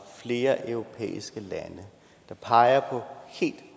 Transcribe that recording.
flere europæiske lande der pegede på helt